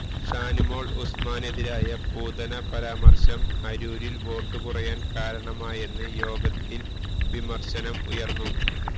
ഷാനിമോള് ഉസ്മാനെതിരായ പൂതന പരാമര്ശം അരൂരില് വോട്ടു കുറയാന് കാരണമായെന്ന് യോഗത്തില് വിമര്ശനം ഉയര്ന്നു